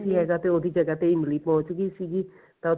ਨੀ ਹੈਗਾ ਤੇ ਉਹਦੀ ਜਗ੍ਹਾ ਤੇ ਇਮਲੀ ਪਹੁੰਚ ਗਈ ਸੀਗੀ ਤਾਂ ਉੱਥੇ